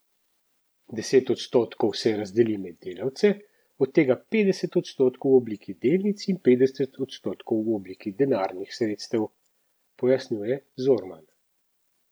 Deset odstotkov se razdeli med delavce, od tega petdeset odstotkov v obliki delnic in petdeset odstotkov v obliki denarnih sredstev, pojasnjuje Zorman.